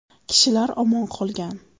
Kishilar omon qolgan.